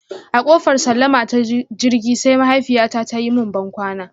A kofar sallama ta jirgi, sai mahaifiyyata ta yi mun bankwana.